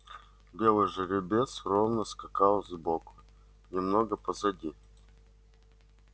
белый жеребец ровно скакал сбоку немного позади